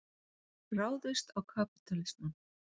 Ráðist á kapítalismann.